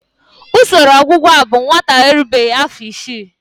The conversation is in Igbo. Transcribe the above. Usoro ọgwụgwọ a bụ maka nwatakịrị na-erubeghị afọ isii.